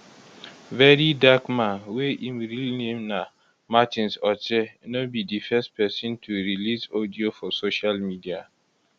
very dark man wey im real name na martins otse no be di first pesin to release audio for social media